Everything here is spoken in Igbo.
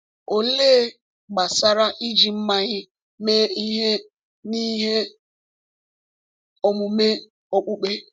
Olee gbasara iji mmanya mee ihe n’ihe omume okpukpe?